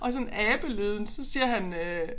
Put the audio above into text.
Og sådan abelydene så siger han øh